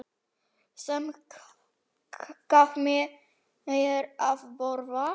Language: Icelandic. Sem gaf mér að borða.